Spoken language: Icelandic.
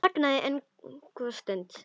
Hann þagði enn góða stund.